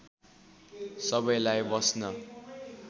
सबैलाई बस्न